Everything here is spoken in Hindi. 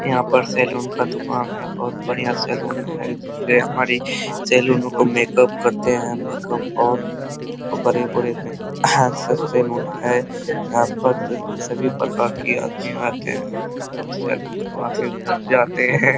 यहाँ पर सैलून का दुकान है बहुत बढ़िया सैलून है जिससे हमरी सैलून को मेक-अप करते हैं मेक-अप और ऊपरी ऊपरी सभी प्रकार की आदमी आते हैं और सैलून करवा के घर जाते हैं।